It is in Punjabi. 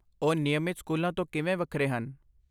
ਉਹ ਨਿਯਮਤ ਸਕੂਲਾਂ ਤੋਂ ਕਿਵੇਂ ਵੱਖਰੇ ਹਨ?